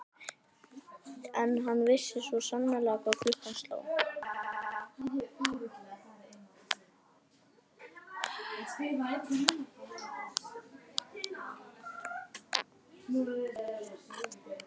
En hann vissi svo sannarlega hvað klukkan sló.